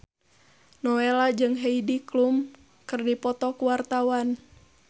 Nowela jeung Heidi Klum keur dipoto ku wartawan